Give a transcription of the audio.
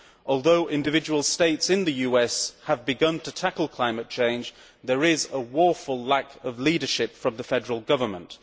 Although individual states in the US have begun to tackle climate change, there is a woeful lack of leadership from the Federal Government.